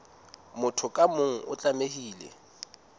motho ka mong o tlamehile